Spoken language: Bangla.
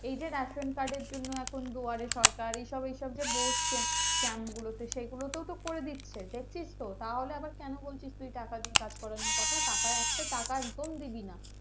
এই যে Ration-card এর জন্যে দুয়ারে সরকার এসব এসব যে বসছে camp গুলো তে সেগুলো তেওঁ তো করে দিচ্ছে দেখছিস তাহলে তুই আবার কেন বলছিস টাকা দিয়ে কাজ করানোর কথা টাকা একটা টাকা একদম দিবি না